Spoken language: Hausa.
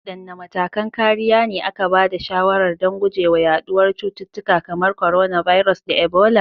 Wadanne matakan kariya ne aka ba da shawarar don guje wa yaduwar cututtuka kamar coronavirus da Ebola?